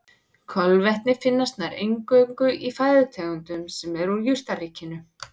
Kolvetni finnast nær eingöngu í fæðutegundum sem eru úr jurtaríkinu.